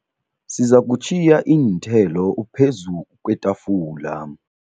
Sizakutjhiya iinthelo phezu kwetafula.